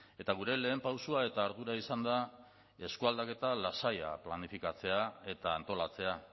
eta gure lehen pausoa eta ardura izan da eskualdaketa lasaia planifikatzea eta antolatzea